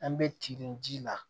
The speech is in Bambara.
An bɛ tindon ji la